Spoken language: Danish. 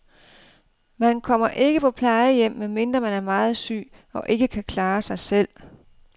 Man kommer ikke på plejehjem, medmindre man er meget syg og ikke kan klare sig selv.